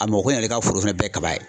A mɔgɔ kelen yɛrɛ ka foro bɛɛ ye kaba ye.